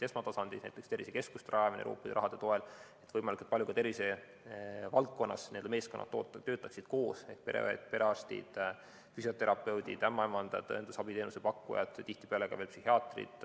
Esmatasandil on rajatud tervisekeskusi Euroopa raha toel, et võimalikult palju töötaksid n‑ö meeskonnad tervisevaldkonnas koos: pereõed, perearstid, füsioterapeudid, ämmaemandad, õendusabiteenuse pakkujad ja tihtipeale ka veel psühhiaatrid.